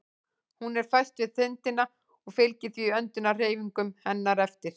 Hún er föst við þindina og fylgir því öndunarhreyfingum hennar eftir.